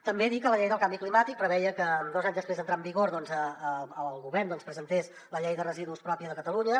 també dir que la llei del canvi climàtic preveia que dos anys després d’entrar en vigor doncs el govern presentés la llei de residus pròpia de catalunya